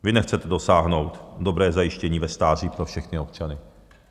Vy nechce dosáhnout dobrého zajištění ve stáří pro všechny občany.